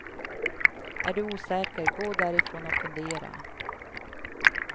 Är du osäker, gå därifrån och fundera.